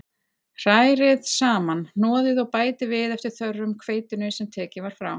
Hrærið saman, hnoðið og bætið við eftir þörfum hveitinu sem tekið var frá.